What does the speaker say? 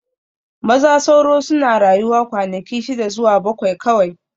Maza sauro suna rayuwa kwanaki shida zuwa bakwai kawai